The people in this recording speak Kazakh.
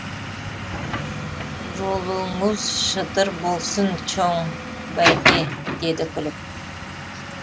жолуңуз шыдыр болсун чоң бәйке деді күліп